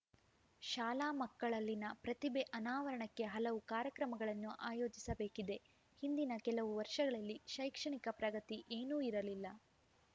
ಶಾಲಾ ಮಕ್ಕಳಲ್ಲಿನ ಪ್ರತಿಭೆ ಅನಾವರಣಕ್ಕೆ ಹಲವು ಕಾರ್ಯಕ್ರಮಗಳನ್ನು ಆಯೋಜಿಸಬೇಕಿದೆ ಹಿಂದಿನ ಕೆಲವು ವರ್ಷಗಳಲ್ಲಿ ಶೈಕ್ಷಣಿಕ ಪ್ರಗತಿ ಏನೂ ಇರಲಿಲ್ಲ